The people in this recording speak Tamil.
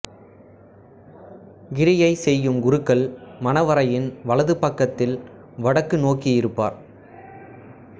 கிரியை செய்யும் குருக்கள் மணவறையின் வலது பக்கத்தில் வடக்கு நோக்கியிருப்பார்